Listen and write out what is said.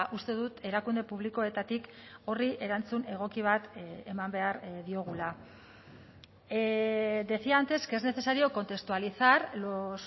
uste dut erakunde publikoetatik horri erantzun egoki bat eman behar diogula decía antes que es necesario contextualizar los